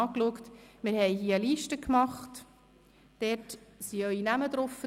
Es liegt hier vorn eine Liste mit Ihren Namen auf;